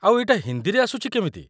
ଆଉ ଏଇଟା ହିନ୍ଦୀରେ ଆସୁଛି କେମିତି?